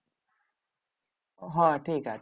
হ্যাঁ ঠিক আছে।